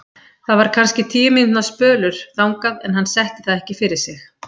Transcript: Það var kannski tuttugu mínútna spölur þangað en hann setti það ekki fyrir sig.